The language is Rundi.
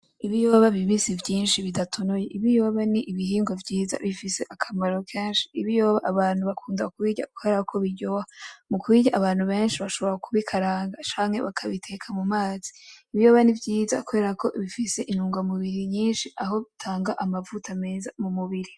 Ibiyoba bibisi vyinshi bidatonoye, ibiyoba ni ibihingwa vyiza bifise akamaro kenshi, ibiyoba abantu bakunda kubirya kubera ko biryoha, mu kubirya abantu benshi bashobora kubikaranga canke bakabiteka mu mazi, ibiyoba ni vyiza kubera ko bifise intunga mubiri nyinshi aho bitanga amavuta meza mu mubiri.